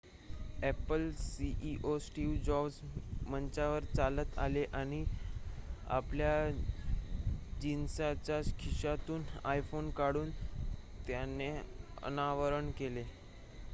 Apple CEO Steve Jobs मंचावर चालत आले आणि आपल्या जिन्सच्या खिशातून आयफोन काढून त्याचे अनावरण केले